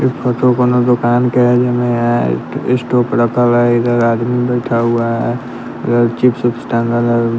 इ फोटो कोनो दोकान के जय में स्टॉप रखा हुआ है इधर आदमी बैठा हुआ है इधर चिप्स उप्स टांगल हो।